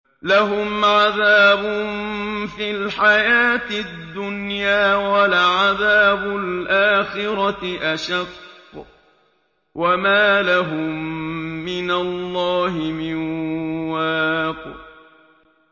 لَّهُمْ عَذَابٌ فِي الْحَيَاةِ الدُّنْيَا ۖ وَلَعَذَابُ الْآخِرَةِ أَشَقُّ ۖ وَمَا لَهُم مِّنَ اللَّهِ مِن وَاقٍ